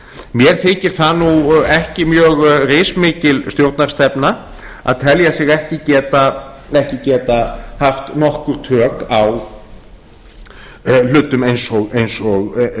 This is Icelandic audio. mér þykir það ekki mjög rismikil stjórnarstefna að telja sig ekki geta haft nokkur tök á hlutum eins og